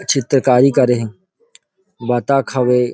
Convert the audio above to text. चित्रकारी करे हे बत्तख हावे।